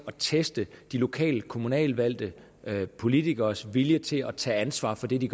at teste de lokale kommunalvalgte politikeres vilje til at tage ansvar for det de